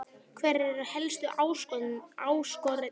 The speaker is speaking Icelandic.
Hverjar eru helstu áskoranirnar hér á landi?